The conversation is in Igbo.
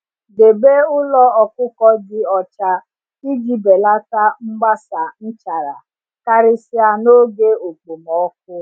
Debe ụlọ ọkụkọ dị ọcha iji belata mgbasa nchara, karịsịa n’oge okpomọkụ.